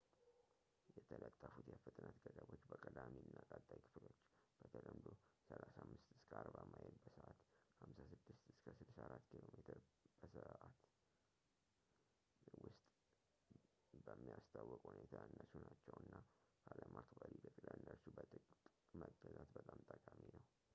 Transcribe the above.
የተለጠፉት የፍጥነት ገደቦች በቀዳሚ እና ቀጣይ ክፍሎች — በተለምዶ 35-40 ማይል በሰዓት 56-64 ኪሜ/ሰ —ውስጥ በሚያስታውቅ ሁኔታ ያነሱ ናቸው እና ካለማክበር ይልቅ ለእነርሱ በጥብቅ መገዛት በጣም ጠቃሚ ነው